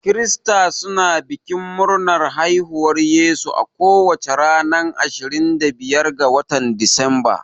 Krista suna bikin murnar haihuwar Yesu a kowace ranar ashirin da biyar ga watan disamba.